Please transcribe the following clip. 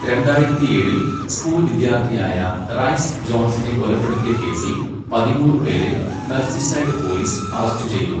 രണ്ടായിരത്തിയേഴിൽ school വിദ്യാർത്ഥിയായ Rhys ജോൺസിനെ കൊലപ്പെടുത്തിയ കേസിൽ പതിമൂന്ന് പേരെ മെർസിസൈഡ് പോലീസ് അറസ്റ്റ് ചെയ്തു.